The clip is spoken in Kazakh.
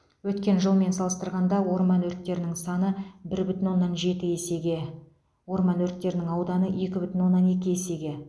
өткен жылмен салыстырғанда орман өрттерінің саны бір бүтін оннан жеті есеге орман өрттерінің ауданы екі бүтін оннан екі есеге